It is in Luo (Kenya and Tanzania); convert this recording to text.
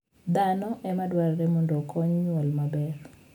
Dhano e ma dwarore mondo okony nyuol maber.